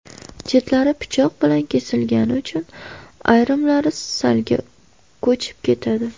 Chetlari pichoq bilan kesilgani uchun ayrimlari salga ko‘chib ketadi.